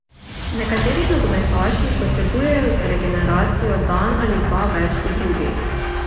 Nekateri nogometaši potrebujejo za regeneracijo dan ali dva več kot drugi.